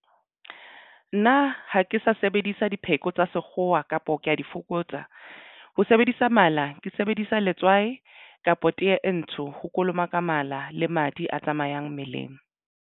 Nna ha ke sa sebedisa dipheko tsa sekgowa kapo ke ya di fokotsa. Ho sebedisa mala ke sebedisa letswai kapa tee e ntsho ho kolomaka mala le madi a tsamayang mmeleng.